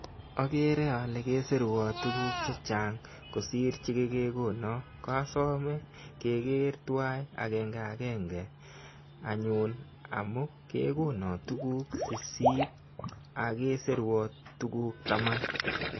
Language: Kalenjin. Akere ale kesirwa tuguk chechang' kosiir che kekekono. Kosome kekeer tuwai akenge akenge anyun amu kekono tuguk sisiit ako kesirwa tuguk taman.